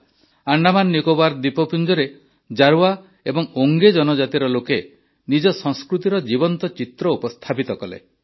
ଆଣ୍ଡାମାନନିକୋବାର ଦ୍ୱୀପପୁଂଜରେ ଜାରୱା ଏବଂ ଓଂଗେ ଜନଜାତିର ଲୋକେ ନିଜ ସଂସ୍କୃତିର ଜୀବନ୍ତ ଚିତ୍ର ଉପସ୍ଥାପିତ କଲେ